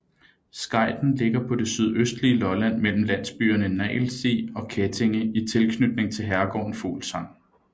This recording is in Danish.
Skejten ligger på det sydøstlige Lolland mellem landsbyerne Nagelsti og Kettinge i tilknytning til herregården Fuglsang